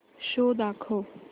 show दाखव